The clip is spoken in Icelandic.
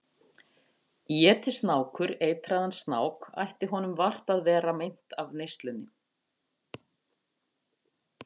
Éti snákur eitraðan snák ætti honum vart að vera meint af neyslunni.